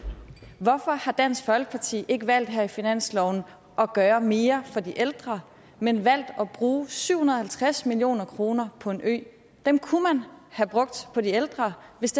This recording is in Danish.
hvorfor har dansk folkeparti ikke valgt her i finansloven at gøre mere for de ældre men valgt at bruge syv hundrede og halvtreds million kroner på en ø dem kunne man have brugt på de ældre hvis